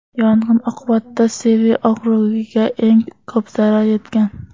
Yong‘in oqibatida Sevi okrugiga eng ko‘p zarar yetgan.